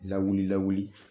Lawuli lawuli